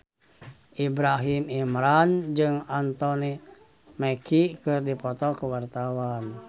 Ibrahim Imran jeung Anthony Mackie keur dipoto ku wartawan